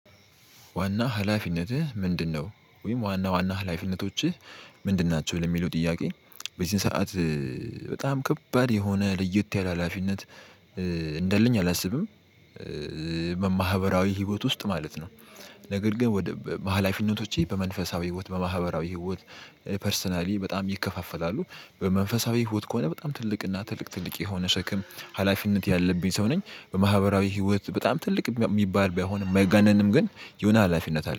ዋና ሀላፊነትህ ምንድነው? ወይም ዋና ዋና ሀላፊነቶችህ ምንድን ናቸው? ለሚለው ጥያቄ በዚህን ሰዓት በጣም ከባድ የሆነ ልየት ያለ ሀላፊነት እንዳለኝ አላስብም። በማህበራዊ ህይወት ውስጥ ማለት ነው። ነገር ግን ወደ ባሃላፊነቶቼ በመንፈሳዊ ህይወት በማህበራዊ ህይወት ፐርሰናሊ በጣም ይከፋፈላሉ። በመንፈሳዊ ህይወት ከሆነ በጣም ትልቅ እና ትልቅ ትልቅ የሆነ ሸክም ሀላፊነት ያለብኝ ሰው ነኝ። በማህበራዊ ህይወት በጣም ትልቅ የሚባል ባይሆንም ማይጋነንም ግን የሆነ ሀላፊነት አለ